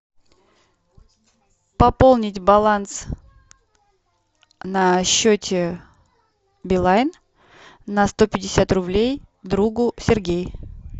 пополнить баланс на счете билайн на сто пятьдесят рублей другу сергей